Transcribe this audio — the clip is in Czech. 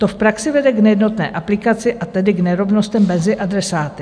To v praxi vede k nejednotné aplikaci, a tedy k nerovnostem mezi adresáty.